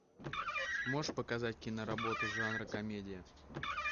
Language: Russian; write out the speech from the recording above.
можешь показать киноработу жанра комедия